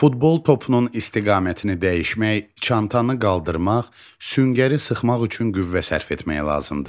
Futbol topunun istiqamətini dəyişmək, çantanı qaldırmaq, süngəri sıxmaq üçün qüvvə sərf etmək lazımdır.